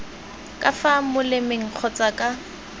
ka fa molemeng kgotsa ka